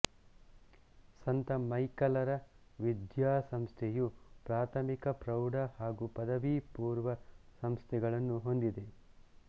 ಸಂತ ಮೈಕಲರ ವಿದ್ಯಾಸಂಸ್ಥೆಯು ಪ್ರಾಥಮಿಕ ಪ್ರೌಢ ಹಾಗು ಪದವಿ ಪೂರ್ವ ಸಂಸ್ಥೆಗಳನ್ನು ಹೊಂದಿದೆ